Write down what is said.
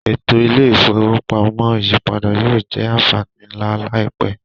Eto ile-ifowopamọ iyipada yoo jẹ anfani nla laipẹ.